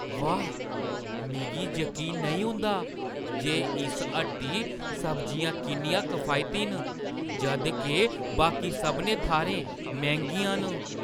वाह्, मिगी जकीन नेईं औंदा जे इस हट्टी सब्जियां किन्नियां किफायती न जद् के बाकी सभनें थाह्‌रें मैंह्‌गियां न!